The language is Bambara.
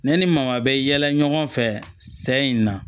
Ne ni maa bɛ yaala ɲɔgɔn fɛ sɛ in na